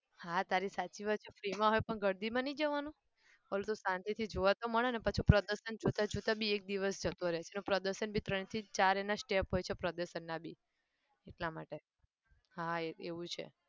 હા તારી સાચી વાત છે free માં હોય પણ ગળદીમાં નહિ જવાનું પેલું શાંતિથી જોવા તો મળે પાછુ પ્રદર્શન જોતા જોતા બી એક દિવસ જતો રહે છે. જો પ્રદર્શન પણ ત્રણ થી ચાર એના step પ્રદર્શનના બી એટલા માટે હા એ એવું છે